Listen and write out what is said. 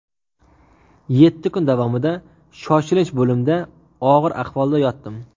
Yetti kun davomida shoshilinch bo‘limda og‘ir ahvolda yotdim.